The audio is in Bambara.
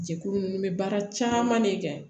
Jɛkulu ninnu bɛ baara caman de kɛ